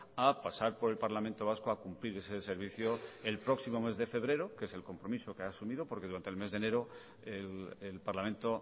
a pasar por el parlamento vasco a cumplir ese servicio el próximo mes de febrero que es el compromiso que ha asumido porque durante el mes de enero el parlamento